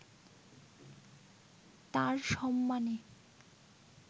তাঁর সম্মানে